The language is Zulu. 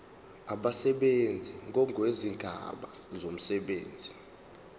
abasebenzi ngokwezigaba zomsebenzi